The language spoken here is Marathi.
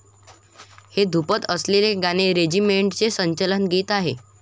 हे धृपद असलेले गाणे रेजिमेंटचे संचलन गीत आहे